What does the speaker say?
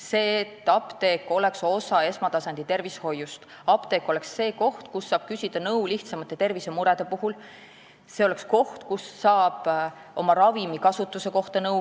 See, et apteek oleks osa esmatasandi tervishoiust ja koht, kust saab küsida abi lihtsamate tervisemurede puhul ja nõu ravimi kasutuse kohta.